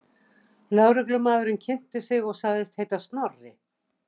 Lögreglumaðurinn kynnti sig og sagðist heita Snorri.